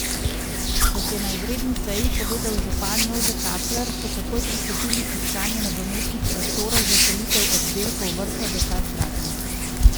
Kot je na izredni seji povedal župan Jože Kapler, so takoj pristopili k iskanju nadomestnih prostorov za selitev oddelkov vrtca za čas gradnje.